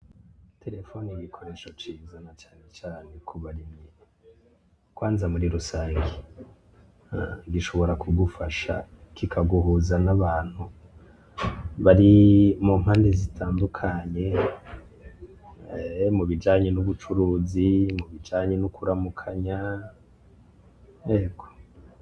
Terefone ni igikoresho ciza na cane cane ku barimyi. kwanza muri rusangi, gishobora kugufasha kikaguhuza n'abantu bari mu mpande zitandukanye, mubijanye n'ubucuruzi, mubijanye no kuramukanya.